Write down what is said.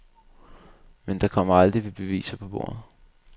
Men der kom aldrig beviser på bordet.